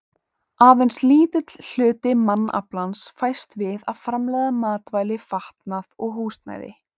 Aðeins lítill hluti mannaflans fæst við að framleiða matvæli, fatnað og húsnæði.